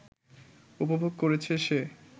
উপভোগ করেছে সে